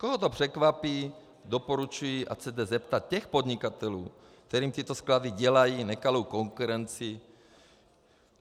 Koho to překvapí, doporučuji, ať se jde zeptat těch podnikatelů, kterým tyto sklady dělají nekalou konkurenci.